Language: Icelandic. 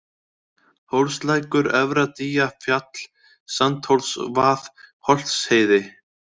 Hólslækur, Efra-Dýjafjall, Sandhólsvað, Holtsheiði